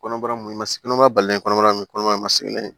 Kɔnɔbara mun ma s kɔnɔma balen kɔnɔbara nin kɔnɔbara ma se n'a ye